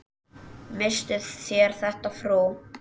Misstuð þér þetta, frú!